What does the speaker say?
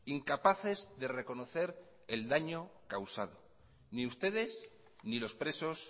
incapaces de reconocer el daño causado ni ustedes ni los presos